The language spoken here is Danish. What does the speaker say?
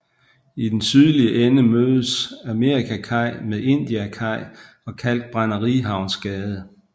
I den sydlige ende mødes Amerikakaj med Indiakaj og Kalkbrænderihavnsgade